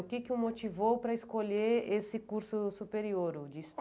O que que o motivou para escolher esse curso superior de